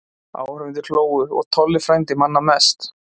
Áhorfendur hlógu og Tolli frændi manna mest.